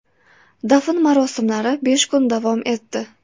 Dafn marosimlari besh kun davom etdi.